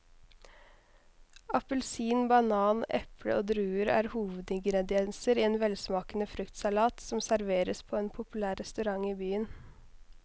Appelsin, banan, eple og druer er hovedingredienser i en velsmakende fruktsalat som serveres på en populær restaurant i byen.